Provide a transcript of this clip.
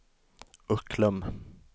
Ucklum